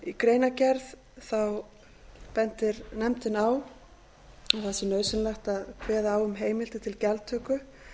í greinargerð bendir nefndin á að það sé nauðsynlegt að kveða á um heimildir til gjaldtöku